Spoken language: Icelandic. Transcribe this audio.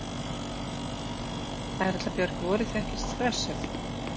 Erla Björg: Voruð þið ekkert stressuð?